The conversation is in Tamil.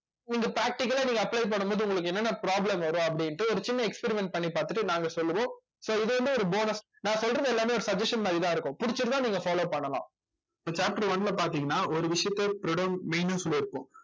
நீங்க practical ஆ நீங்க apply பண்ணும் போது உங்களுக்கு என்னென்ன problem வரும் அப்படின்னுட்டு ஒரு சின்ன experiment பண்ணி பார்த்துட்டு நாங்க சொல்லுவோம் so இது வந்து ஒரு bonus நான் சொல்றது எல்லாமே ஒரு suggestion மாதிரிதான் இருக்கும் பிடிச்சிருந்தா நீங்க follow பண்ணலாம் இப்ப chapter one ல பார்த்தீங்கன்னா ஒரு விஷயத்த main அ சொல்லி இருப்போம்